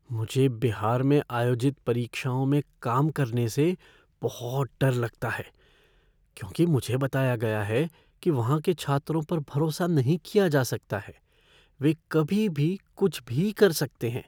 मुझे बिहार में आयोजित परीक्षाओं में काम करने से बहुत डर लगता है क्योंकि मुझे बताया गया है कि वहाँ के छात्रों पर भरोसा नहीं किया जा सकता है, वे कभी भी कुछ भी कर सकते हैं।